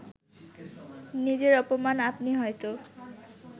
নিজের অপমান আপনি হয়তো